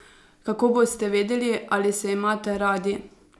Kako boste vedeli, ali se imate radi?